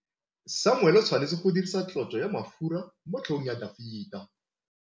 Samuele o tshwanetse go dirisa tlotsô ya mafura motlhôgong ya Dafita.